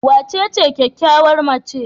Wacece kyakkyawar macen?